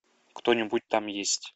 кто нибудь там есть